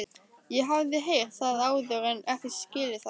Ég hafði heyrt það áður en ekki skilið það.